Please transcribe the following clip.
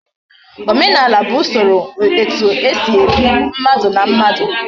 Omenala bu Usoro etu esi ebi, mmadu na mmadu